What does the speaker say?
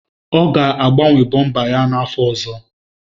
Ọ ga-agbanwe bọmba ya n'afọ ọzọ.